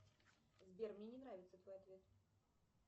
сбер мне не нравится твой ответ